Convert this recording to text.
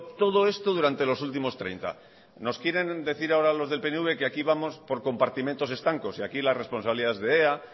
todo esto durante los últimos treinta nos quieren decir ahora los del pnv que aquí vamos por compartimentos estancos y aquí la responsabilidad es de ea